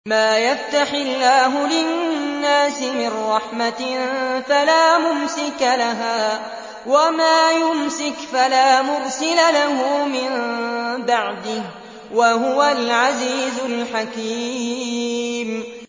مَّا يَفْتَحِ اللَّهُ لِلنَّاسِ مِن رَّحْمَةٍ فَلَا مُمْسِكَ لَهَا ۖ وَمَا يُمْسِكْ فَلَا مُرْسِلَ لَهُ مِن بَعْدِهِ ۚ وَهُوَ الْعَزِيزُ الْحَكِيمُ